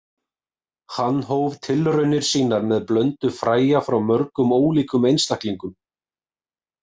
Hann hóf tilraunir sínar með blöndu fræja frá mörgum ólíkum einstaklingum.